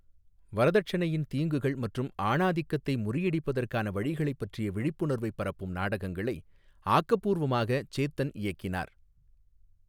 வரதட்சணையின் தீங்குகள் மற்றும் ஆணாதிக்கத்தை முறியடிப்பதற்கான வழிகளைப் பற்றிய விழிப்புணர்வைப் பரப்பும் நாடகங்களை ஆக்கப்பூர்வமாக சேத்தன் இயக்கினார்.